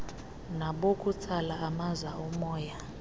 nabokutsala amaza omoya